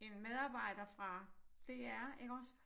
En medarbejder fra DR iggås